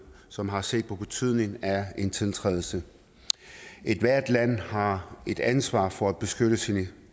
som har set på betydningen af en tiltrædelse ethvert land har et ansvar for at beskytte sine